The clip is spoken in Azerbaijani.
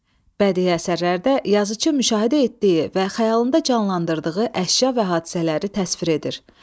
Bədii əsərlərdə yazıcı müşahidə etdiyi və xəyalında canlandırdığı əşya və hadisələri təsvir edir.